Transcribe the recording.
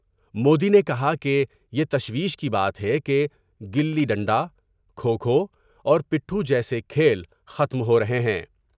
مودی نے کہا کہ بی تشویش کی بات ہے کہ گلی ڈنڈا ، کھوکھواور پٹھتو جیسے کھیل ختم ہورہے ہیں ۔